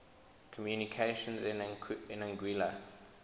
communications in anguilla